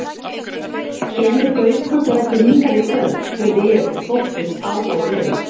Kemur Gaukur þá ekki hingað í kvöld? spurði ég og þóttist áhugalaus.